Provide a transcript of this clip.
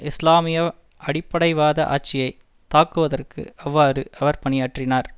இஸ்லாமிய அடிப்படைவாத ஆட்சியை தாக்குவதற்கு அவ்வாறு அவர் பணியாற்றினார்